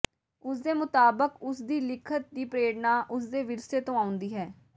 ਉਸ ਦੇ ਮੁਤਾਬਕ ਉਸ ਦੀ ਲਿਖਤ ਦੀ ਪ੍ਰੇਰਣਾ ਉਸ ਦੇ ਵਿਰਸੇ ਤੋਂ ਆਉਂਦੀ ਹੈ